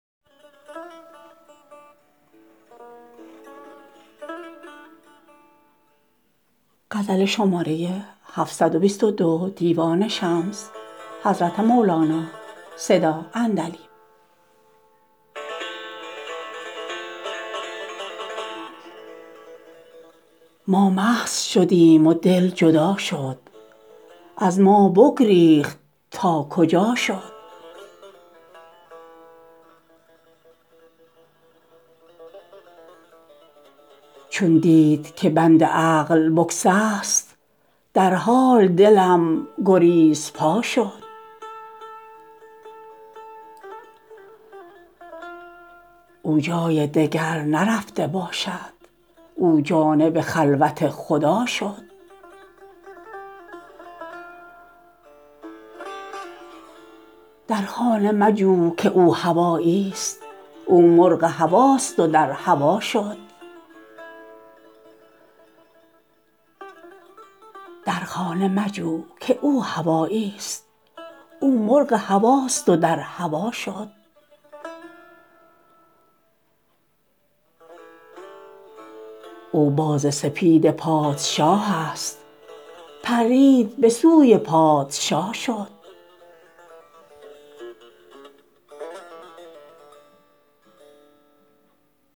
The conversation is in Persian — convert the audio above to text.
ما مست شدیم و دل جدا شد از ما بگریخت تا کجا شد چون دید که بند عقل بگسست در حال دلم گریزپا شد او جای دگر نرفته باشد او جانب خلوت خدا شد در خانه مجو که او هوایی ست او مرغ هواست و در هوا شد او باز سپید پادشاه است پرید به سوی پادشا شد